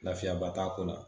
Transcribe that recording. Lafiyabaa t'a ko la